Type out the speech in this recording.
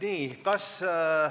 Aitäh!